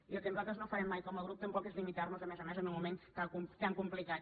i el que nosaltres no farem mai com a grup tampoc és limitar nos a més a més en un moment tan complicat